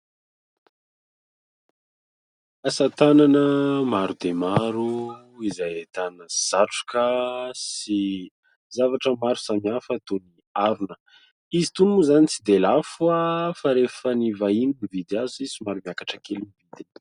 Asa tanana maro dia maro izay ahitana satroka sy zavatra maro samihafa toy ny harona. Izy itony moa izany tsy dia lafo fa rehefa ny vahiny no mividy azy, somary miakatra kely ny vidiny.